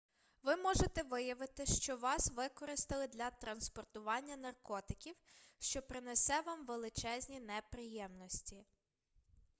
ви можете виявити що вас використали для транспортування наркотиків що принесе вам величезні неприємності